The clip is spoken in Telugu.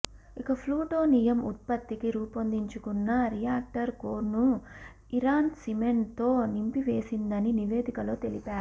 ఇక ప్లూటోనియం ఉత్పత్తికి రూపొందిం చుకున్న రియాక్టర్ కోర్ను ఇరాన్ సిమెంట్తో నింపివేసిందని నివేదికలో తెలిపారు